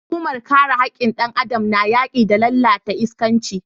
Hukumar kare hakkin dan Adam na yaki da lalatar iskanci.